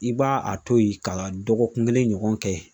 I b' a to yen ka dɔgɔkun kelen ɲɔgɔn kɛ